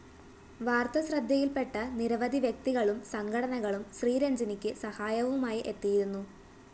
വാര്‍ത്ത ശ്രദ്ധയില്‍പെട്ട നിരവധി വ്യക്തികളും സംഘടനകളും ശ്രീരജ്ഞിനിക്ക് സഹായവുമായി എത്തിയിരുന്നു